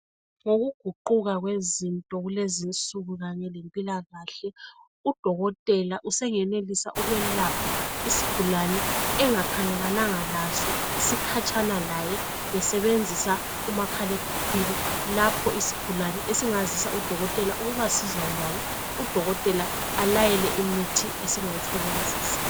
Ngokuguquka kwezinto kulezinsuku kanye lempilakahle udokotela usengenisa ukwelapha isigulane engakhangelelana laso sikhatshana laye besebenzisa umakhalekhwini lapho isigulwane esingazisa udokotela ukuba sizwe njani udokotela alayele imithi esingayisebenzisa.